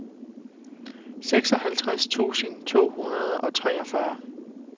seksoghalvtreds tusind to hundrede og treogfyrre